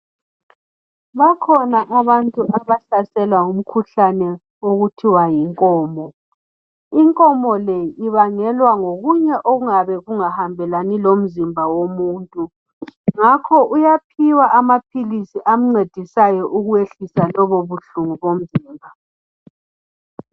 Bakhona abantu abahlaselwa ngumkhuhlane okuthiwa yinkomo, inkomo le ibangelwa ngokunye okuyabe kungahambelani lomzimba womuntu ngakho ke uyaphiwa amaphilisi amncedisayo ukwehlisa lobo buhlungu bomzimba